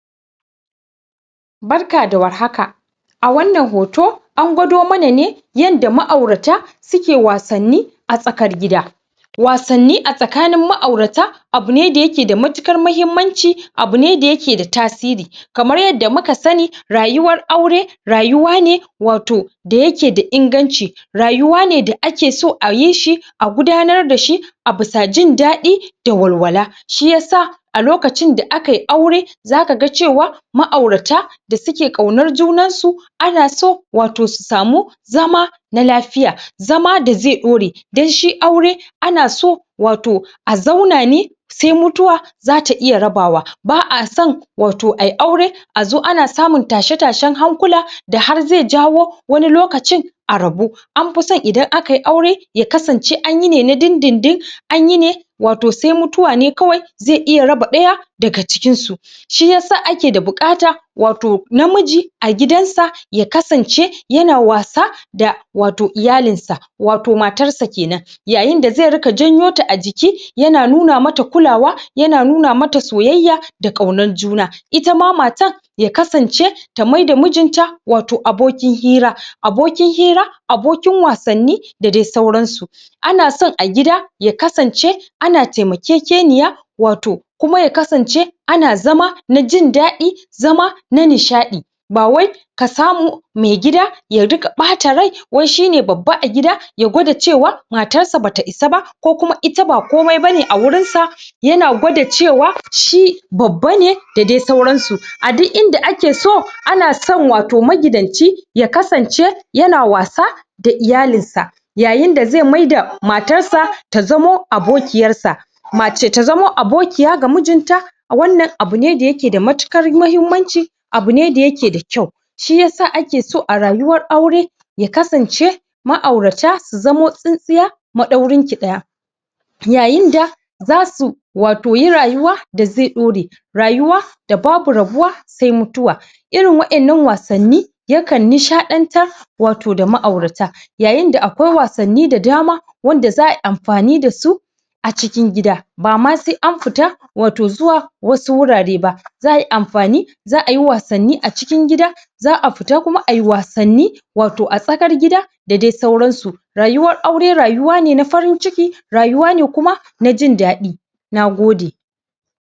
Barka da warhaka. A wannan hoto an gwado mana ne yanda ma’aurata suke wasanni a tsakar gida. Wasanni a tsakanin ma’aurata abu ne da yake da matuƙar mahimmanci, abu ne da yake da tasiri. Kamar yanda muka sani, rayuwar aure rayuwa ne wato da yake da inganci, rayuwa ne da ake so a yi shi a gudanar da shi bisa jin daɗi da walwala. Shi yasa a lokacin da aka yi aure zaka ga cewa ma’aurata da suke kaunar juna ana so wato su samu zama na lafiya, zama da zai ɗaure. Don shi aure ana so wato a zauna ne sai mutuwa zata iya rabawa. Ba a son a yi aure wato a zo ana samun tashe-tashen hankula da har zai jawo wani lokaci a rabu. An fi son idan aka yi aure ya kasance anyi ne na dindindin, anyi ne wato sai mutuwa ne kawai zai iya raba daya daga cikinsu. Shi yasa ake da buƙata wato namiji a gidansa ya kasance wato yana wasa da iyalinsa wato matarsa kenan, da iyalinsa wato matarsa kenan. Ya kasance ta maida mijinta wato abokin hira, abokin wasanni da dai sauransu. Ana son a gida ya kasance ana taimakekeniya wato kuma ya kasance ana zama na jin daɗi, zama na nishaɗi. Ba wai ka samu maigida ya riƙa bata rai wai shine babba a gida ya gwada cewa matarsa bata isa ba ko ita ba komai bane a wurinsa yana gwada cewa shi babba ne da dai sauransu ba. A duk inda ake so, ana son wato magidanci ya kasance yana wasa da iyalinsa yayin da zai maida matarsa ta zama abokiyarsa, mace ta zama abokiya ga mijinta. Wannan abu ne mai matuƙar mahimmanci, abu ne da yake da kyau. Shi yasa ake so a rayuwar aure ya kasance ma’aurata su zamanto tsintsiya maɗaurinki ɗaya yayin da zasu wato yi rayuwa wato da zai daure, rayuwa da babu rabuwa sai mutuwa. Irin waɗannan wasanni yakan nishadantar wato da ma’aurata yayin da akwai wasanni da dama wanda za a yi anfani da su a cikin gida. Ba ma sai an fita wato zuwa wasu wurare ba; za a yi anfani, za a yi wasanni a cikin gida, za a fita kuma a yi wasanni wato a tsakar gida da dai sauransu. Rayuwar aure rayuwa ne na farin ciki, rayuwa ne kuma na jin daɗi. Na gode.